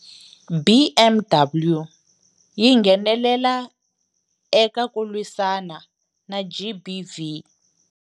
BMW yi nghenelela eka ku lwisana na GBV.